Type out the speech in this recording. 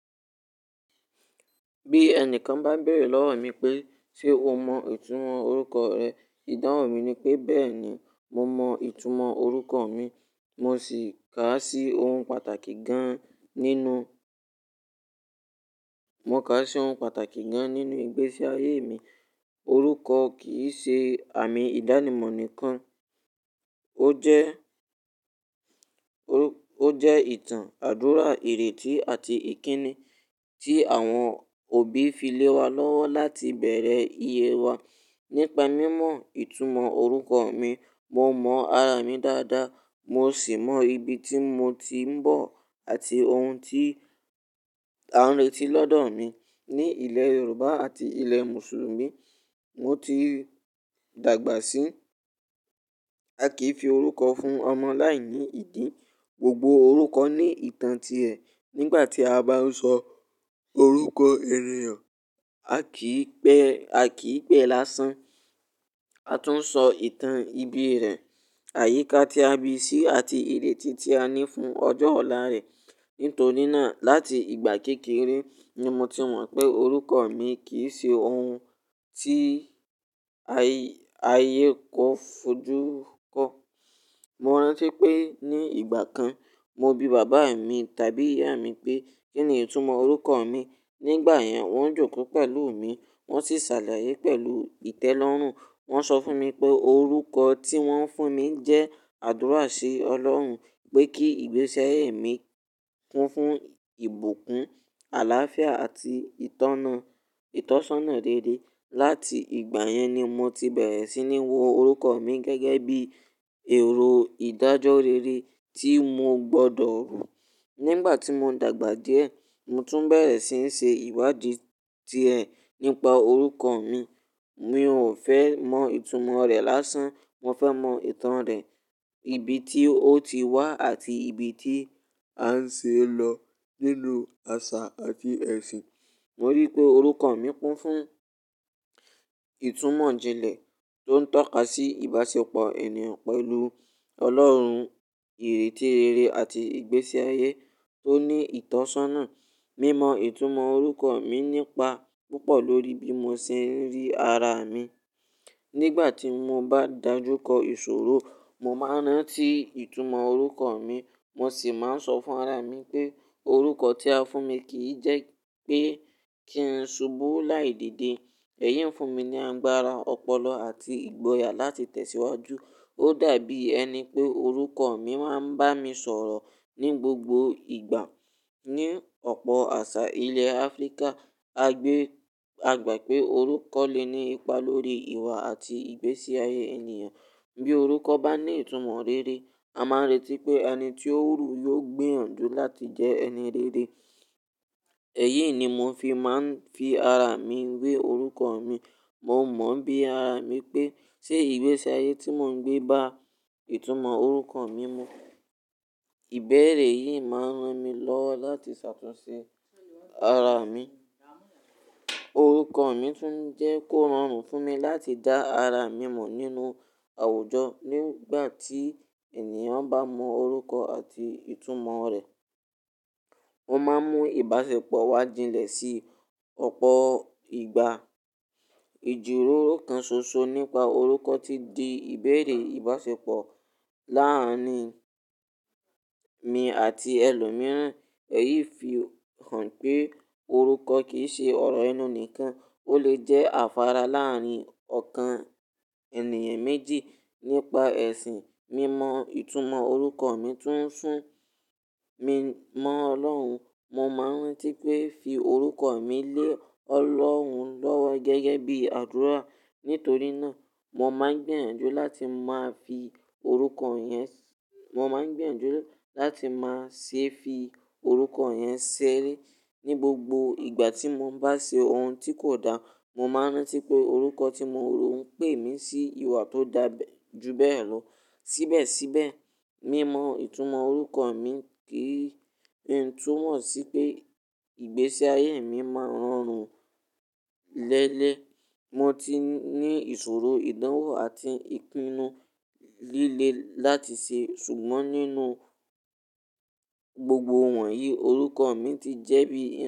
Bí ẹnìkan bá n béèrè lọ́wọ́ mi pé, "Ṣé o mọ ìtumọ̀ orúkọ rẹ?" Ìdáhùn mi ni pé, "Bẹ́ẹ̀ ni, mo mọ ìtumọ̀ orúkọ mi." Mo sì ká sí ohun pàtàkì gan-an nínú, mo ká sí ohun pàtàkì gan-an nínú ìgbésí ayé mi. Orúkọ kì í ṣe àmì ìdánimọ̀ nìkan, ó jẹ́, ó jẹ́ ìtàn, àdúrà, ìrètí àti ìkíni tí àwọn òbí fi lé wa lọ́wọ́ láti bẹ̀rẹ̀ ìyè wa. Nípa mímọ ìtumọ̀ orúkọ mi, mo mọ ara mi dáadáa, mo sì mọ ibi tí mo ti ń bọ̀ àti ohun tí a ń retí lọ́dọ̀ mi. Ní ilẹ̀ Yorùbá àti ilẹ̀ Mùsùlùmí, mo ti dàgbà sí, a kì í fi orúkọ fún ọmọ láìní ìdi. Gbogbo orúkọ ní ìtàn ti ẹ̀. Nígbà tí a bá sọ orúkọ ènìyàn, a kì í pẹ́, a kì í pẹ́ lásán, a tún sọ ìtàn ibí rẹ̀, àyíká tí a bi sí àti ìrètí tí a ní fún ọjọ́ ọ̀la rẹ̀. Nítorí náà, láti ìgbà kékeré, ni mo ti mọ̀ pé orúkọ mi kì í ṣe ohun tí ayé kó fojú kọ. Mo rántí pé ní ìgbà kan, mo bi bàbá mi tàbí ìyá mi pé, "Kí ni ìtumọ̀ orúkọ mi?" Nígbà yẹn, wọ́n jòkó pẹ̀lú mi, wọ́n sì ṣàlàyé pẹ̀lú ìtẹ́lọ́rùn. Wọ́n sọ fún mi pé orúkọ tí wọ́n fún mi jẹ́ àdúrà sí Ọlọ́run pé kí ìgbésí ayé mi kún fún ìbùkún, àláfíà àti ìtọ́na, ìtọ́sọ́nà rere. Láti ìgbà yẹn ni mo ti bẹ̀rẹ̀ sí ní wo orúkọ mi gẹ́gẹ́ bí èrò ìdájọ́ rere tí mo gbọdọ̀ rù. Nígbà tí mò ń dàgbà díẹ̀, mo tún bẹ̀rẹ̀ sí ń ṣe ìwádìí diẹ̀ nípa orúkọ mi. Mi ò fẹ́ mọ ìtumọ̀ rẹ̀ lásán, mo fẹ́ mọ ìtàn rẹ̀, ibi tí ó ti wá àti ibi tí à ń ṣe é lọ nínú àṣà àti ẹ̀sìn. Mo rí pé orúkọ mi kún fún ìtumọ̀ jinlẹ̀ tó ń tọ́ka sí ìbáṣepọ̀ ènìyàn pẹ̀lú Ọlọ́run, ìrètí rere àti ìgbésí ayé tó ní ìtọ́sọ́nà. Mímọ ìtumọ̀ orúkọ mi nípa púpọ̀ lórí bí mo ṣe ń rí ara mi. Nígbà tí mo bá dàjú kọ ìṣòro, mo máa rántí ìtumọ̀ orúkọ mi, mo sì máa ń sọ fún ara mi pé orúkọ tí a fún mi kì í jẹ́ pé kí ń ṣubú láì dédé. Ẹ̀yìn ń fún mi ní agbára ọpọlọ àti ìgboyà láti tẹ̀síwájú. Ó dàbí ẹni pé orúkọ mi máa ń bá mi sọ̀rọ̀ ní gbogbo ìgbà. Ní ọ̀pọ̀ àṣà ilẹ̀ Áfríkà, a gbé, a gbà pé orúkọ lè ní ipa lórí ìwà àti ìgbésí ayé ènìyàn. Bí orúkọ bá ní ìtumọ̀ rere, a máa n retí pé ẹni tí ó ru yiò gbiyan ju láti jẹ́ ẹni rere. Ẹ̀yìi ni mò fi máa ń fi ara mi wé orúkọ mi. Mo mọ̀n bí ara mi pé ṣé ìgbésí ayé tí mò ń gbé bá ìtumọ̀ orúkọ mi mu. Ìbeẹ̀rẹ̀ yìí máa ń ran mi lọ́wọ́ láti ṣe àtúnṣe ara mi. Orúkọ mi tún jẹ́ kó ran fún mi láti dá ara mi mọ̀ nínú àwùjọ. Nígbà tí ènìyàn bá mọ orúkọ àti ìtumọ̀ rẹ̀, ó máa n mú ìbáṣepọ̀ wá jinlẹ̀ sí ọ̀pọ̀ ìgbà. Ìjíròrò kan ṣoṣo nípa orúkọ ti di ìbẹ̀erẹ̀ ìbáṣepọ̀ láàárín mi àti ẹlòmíràn. Ẹ̀yìí fi hàn pé orúkọ kì í ṣe ọ̀rọ̀ enú nìkan, ó lè jẹ́ àfàrà láàárín ọ̀kan ènìyàn méjì. Nípa ẹ̀sìn, mímọ ìtumọ̀ orúkọ mi tún ń sún mi mọ́ Ọlọ́run. Mo máa ń rántí pé fi orúkọ mi lé Ọlọ́run lọ́wọ́ gẹ́gẹ́ bí àdúrà. Nítorí náà, mo máa ń gbiyan ju láti máa fi orúkọ yẹn, mo máa ń gbiyan ju láti máa ṣe fi orúkọ yẹn ṣeré. Ní gbogbo ìgbà tí mo bá ṣe ohun tí kò dáa, mo máa rántí pé orúkọ tí mo ru ń pè mí sí ìwà tó dà ju bẹ́ẹ̀ lọ. Síbẹ̀síbẹ̀, mímọ ìtumọ̀ orúkọ mi kì í túnmọ̀ sí pé ìgbésí ayé mi máa ń rọrùn léelẹ̀. Mo ti ní ìṣòro, ìdánwò àti ìpinnu líle láti ṣe, ṣùgbọ́n nínú gbogbo wọ̀nyí, orúkọ mi ti jẹ́ bí i.